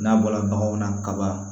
N'a bɔra baganw na kaba